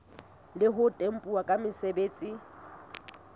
le ho tempuwa ke mosebeletsi